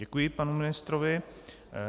Děkuji panu ministrovi.